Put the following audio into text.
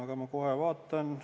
Aga ma kohe vaatan ...